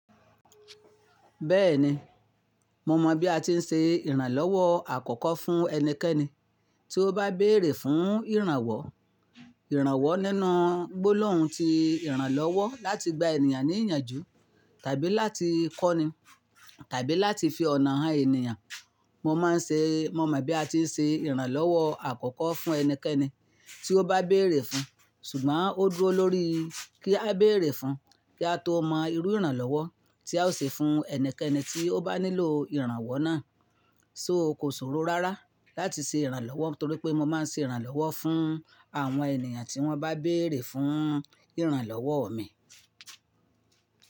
Bẹ́ẹ̀ni, mo mọ bí a ti ń se ìrànlọ́wọ́ àkọ́kọ́ fún ẹnikẹ́ni tí ó bá béèrè fún ìrànwọ́. Ìrànwọ́ nínú gbólóhùn ti ìrànlọ́wọ́ láti gba ènìyàn ní ìyànjú tàbí láti kọ́ni tàbí láti fi ọ̀nà hàn ènìyàn. Mo máa ń ṣe, mo mọ bí a ti ń ṣe ìrànlọ́wọ́ àkọ́kọ́ fún ẹnikẹ́ni tí ó bá béèrè fún, ṣùgbọ́n ó dúró lórí kí a béèrè fún kí a tó mọ irú ìrànlọ́wọ́ tí a ó ṣe fún ẹnikẹ́ni tí ó bá nílò ìrànwọ́ náà. So kò sọ̀rọ̀ rárá láti ṣe ìrànlọ́wọ́ torí pé mo máa ń ṣe ìrànlọ́wọ́ fún àwọn ènìyàn tí wọ́n bá béèrè fún ìrànlọ́wọ́ mi.